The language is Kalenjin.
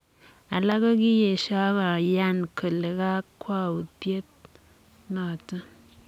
Alak ko kiesio, ak koyan kole kakwautiet notok.